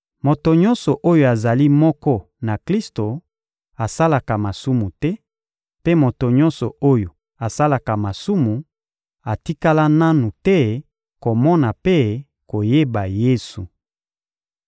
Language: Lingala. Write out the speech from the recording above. Moto nyonso oyo azali moko na Klisto asalaka masumu te, mpe moto nyonso oyo asalaka masumu atikala nanu te komona mpe koyeba Yesu.